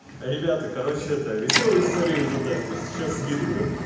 ребята короче это весёлые истории из одессы сейчас скидываю